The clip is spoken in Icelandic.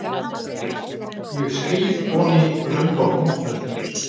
Ég skríð oní röndótt náttfötin.